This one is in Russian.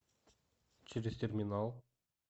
через терминал